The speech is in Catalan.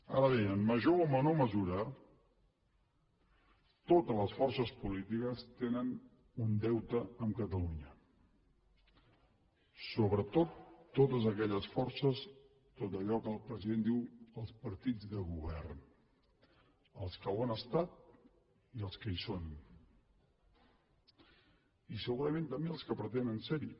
ara bé en major o menor mesura totes les forces polítiques tenen un deute amb catalunya sobretot totes aquelles forces tot allò que el president diu els partits de govern els que ho han estat i els que hi són i segurament també els que pretenen ser hi